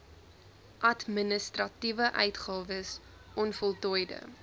administratiewe uitgawes onvoltooide